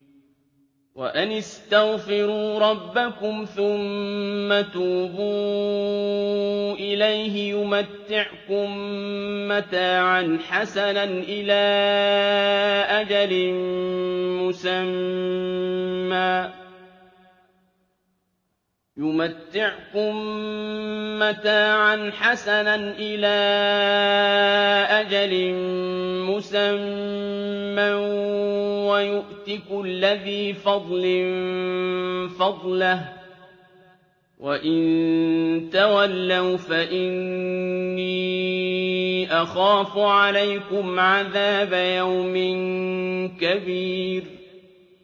وَأَنِ اسْتَغْفِرُوا رَبَّكُمْ ثُمَّ تُوبُوا إِلَيْهِ يُمَتِّعْكُم مَّتَاعًا حَسَنًا إِلَىٰ أَجَلٍ مُّسَمًّى وَيُؤْتِ كُلَّ ذِي فَضْلٍ فَضْلَهُ ۖ وَإِن تَوَلَّوْا فَإِنِّي أَخَافُ عَلَيْكُمْ عَذَابَ يَوْمٍ كَبِيرٍ